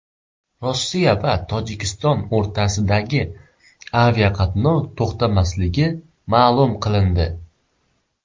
Rossiya va Tojikiston o‘rtasidagi aviaqatnov to‘xtatilmasligi ma’lum qilindi.